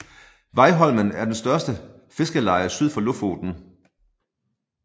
Veiholmen er det største fiskerleje syd for Lofoten